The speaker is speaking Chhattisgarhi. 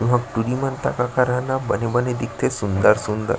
बने बने दिखेते सूंदर सूंदर --